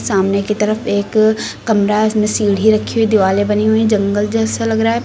सामने की तरफ एक कमरा है इसमें सीढ़ी रखी हुई दिवालें बनी हुईं जंगल जैसा लग रहा है।